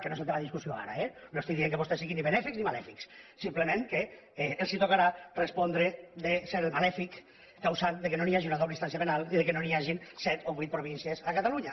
que no és el tema de discussió ara eh no estic dient que vostès siguin ni benèfics ni malèfics simplement que els tocarà respondre de ser el malèfic causant que no hi hagi una doble instància penal i que no hi hagin set o vuit províncies a catalunya